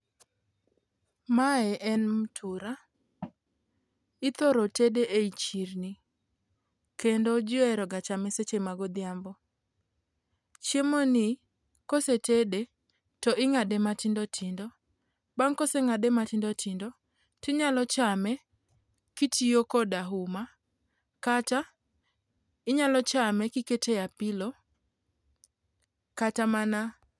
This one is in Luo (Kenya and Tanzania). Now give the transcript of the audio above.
Mae en mtura, ithoro tede e i chirni kendo ji ohero ga chame seche ma godhiambo. Chiemoni kosetede to ing'ade matindotindo, bang' koseng'ade matindotindo tinyalo chame kitiyo koda uma kata inyalo chame kikete apilo kata mana.